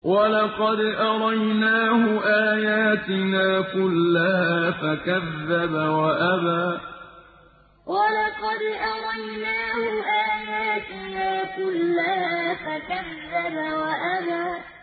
وَلَقَدْ أَرَيْنَاهُ آيَاتِنَا كُلَّهَا فَكَذَّبَ وَأَبَىٰ وَلَقَدْ أَرَيْنَاهُ آيَاتِنَا كُلَّهَا فَكَذَّبَ وَأَبَىٰ